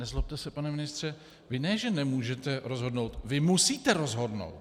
Nezlobte se, pane ministře, vy ne že nemůžete rozhodnout, vy musíte rozhodnout!